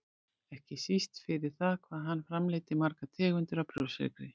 ekki síst fyrir það hvað hann framleiddi margar tegundir af brjóstsykri.